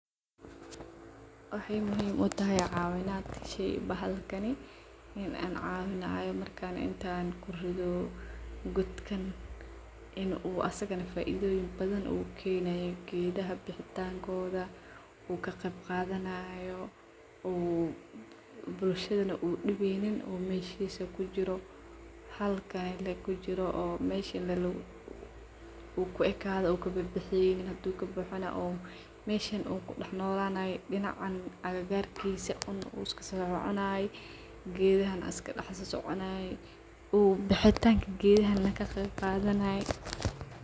Waxay muhiim utahay cawinaad sheey bahalkani in an cawinayo marka intaan kuridho goodkan in asigana faidhoyiin badhan u keenayo geedha baxitankodha oo kaqeeb qadhanayo u bulshadhana u dibeynin oo meshisa kujiro halkani lee kujiro oo mesha kuu ekadho oo kakabexaynin haduu kabaxano o meshan u kudaxnolanayo dinacan agagarkisa oo iska kasoconayo geedhana iskaka daxsoconayo oo baxitanka geedhaha kaqeeb qadhanayo.